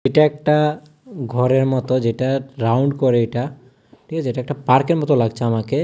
এটা একটা ঘরের মতো যেটা রাউন্ড করে এটা ঠিক আছে এটা একটা পার্কের মতো লাগছে আমাকে।